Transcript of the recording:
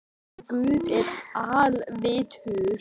Hann leiddi Þuru og Maju.